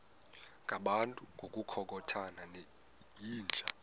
ngabantu ngokukhothana yinja